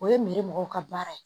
O ye miri mɔgɔw ka baara ye